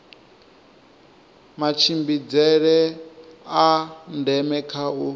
matshimbidzele a ndeme kha u